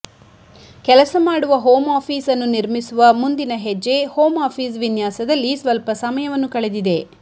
ಕೆಲಸ ಮಾಡುವ home office ಅನ್ನು ನಿರ್ಮಿಸುವ ಮುಂದಿನ ಹೆಜ್ಜೆ ಹೋಮ್ ಆಫೀಸ್ ವಿನ್ಯಾಸದಲ್ಲಿ ಸ್ವಲ್ಪ ಸಮಯವನ್ನು ಕಳೆದಿದೆ